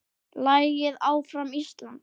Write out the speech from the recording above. Lagið Áfram Ísland!